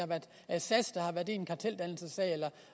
er sas der har været i en karteldannelsessag eller